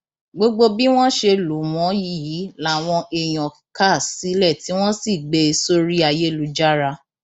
gbogbo bí wọn ṣe lù wọn yìí làwọn èèyàn kà sílẹ tí wọn sì gbé e sórí ayélujára